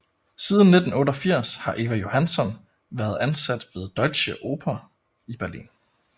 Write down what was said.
Siden 1988 har Eva Johansson været ansat ved Deutsche Oper i Berlin